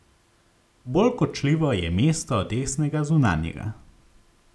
Bolj kočljivo je mesto desnega zunanjega.